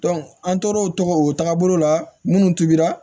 an tor'o tɔgɔ o tagabolo la minnu tobira